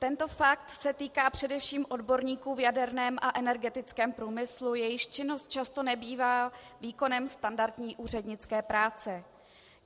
Tento fakt se týká především odborníků v jaderném a energetickém průmyslu, jejichž činnost často nebývá výkonem standardní úřednické práce.